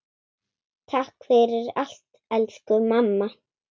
Takk fyrir allt, elsku mamma.